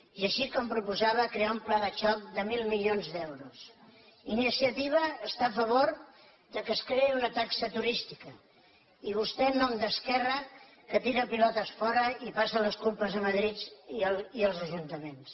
i així com proposava crear un pla de xoc de mil milions d’euros iniciativa està a favor que es creï una taxa turística i vostè en nom d’esquerra tira pilotes fora i passa les culpes a madrid i als ajuntaments